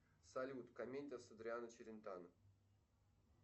салют комедия с адриано челентано